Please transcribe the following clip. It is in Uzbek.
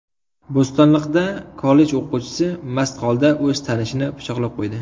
Bo‘stonliqda kollej o‘quvchisi mast holda o‘z tanishini pichoqlab qo‘ydi.